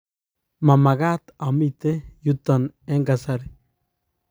mamekat amite yuto eng' kasari